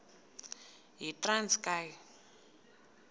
yitranskayi